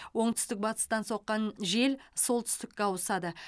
оңтүстік батыстан соққан жел солтүстікке ауысады